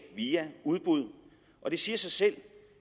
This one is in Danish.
via udbud og det siger sig selv